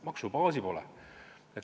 Maksubaasi pole.